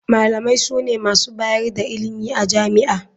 Malamai sune masu bayar da ilimi a jami'a.